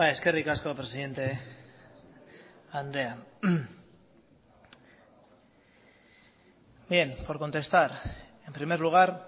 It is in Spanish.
eskerrik asko presidente andrea bien por contestar en primer lugar